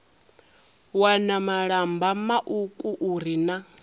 wana malamba mauku uri na